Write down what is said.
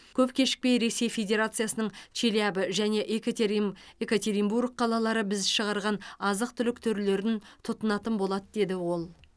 көп кешікпей ресей федерациясының челябі және екатерин екатеринбург қалалары біз шығарған азық түлік түрлерін тұтынатын болады деді ол